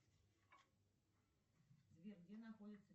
сбер где находится